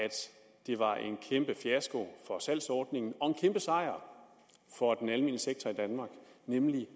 det var en kæmpe fiasko for salgsordningen og en kæmpe sejr for den almene sektor i danmark nemlig